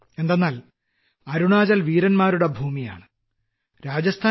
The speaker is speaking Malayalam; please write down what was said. എന്തെന്നാൽ അരുണാചൽ വീരന്മാരുടെ ഭൂമിയാണ് രാജസ്ഥാനും